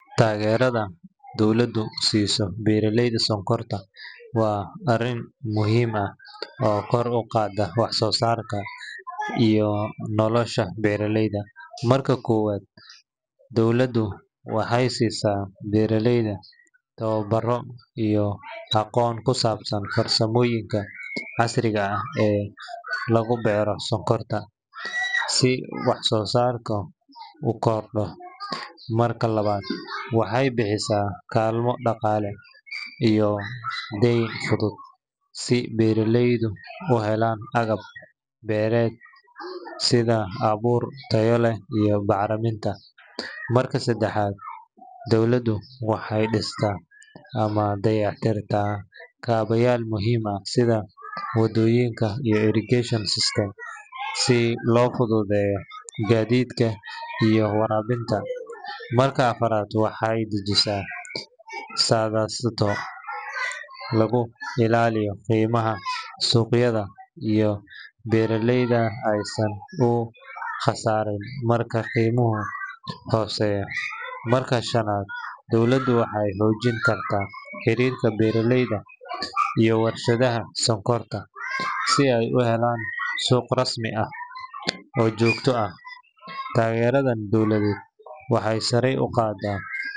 Taageerada dowladdu siiso beeraleyda sonkorta waa arrin muhiim ah oo kor u qaadda wax-soo-saarka iyo nolosha beeraleyda. Marka koowaad, dowladdu waxay siisaa beeraleyda tababaro iyo aqoon ku saabsan farsamooyinka casriga ah ee lagu beero sonkorta si wax-soo-saarku u kordho. Marka labaad, waxay bixisaa kaalmo dhaqaale iyo deyn fudud si beeraleydu u helaan agab beereed sida abuur tayo leh iyo bacriminta. Marka saddexaad, dowladdu waxay dhistaa ama dayactirtaa kaabayaal muhiim ah sida waddooyinka iyo irrigation systems si loo fududeeyo gaadiidka iyo waraabinta. Marka afraad, waxay dejisaa siyaasado lagu ilaaliyo qiimaha suuqyada si beeraleyda aysan u khasaarin marka qiimuhu hooseeyo. Marka shanaad, dowladdu waxay xoojin kartaa xiriirka beeraleyda iyo warshadaha sonkorta si ay u helaan suuq rasmi ah oo joogto ah. Taageeradan dowladeed waxay sare u qaadaa.